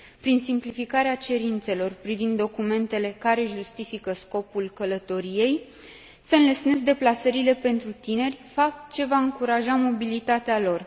Prin simplificarea cerințelor privind documentele care justifică scopul călătoriei, se înlesnesc deplasările pentru tineri, fapt ce va încuraja mobilitatea lor.